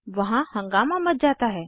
वहाँ हंगामा मच जाता है